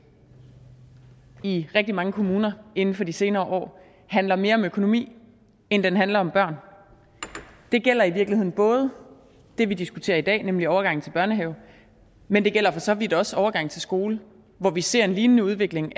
i rigtig mange kommuner inden for de senere år handler mere om økonomi end den handler om børn det gælder i virkeligheden både det vi diskuterer i dag nemlig overgangen til børnehave men det gælder for så vidt også overgangen til skole hvor vi ser en lignende udvikling